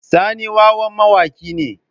Sani wawan mawaki ne.